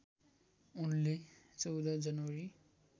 उनले १४ जनवरी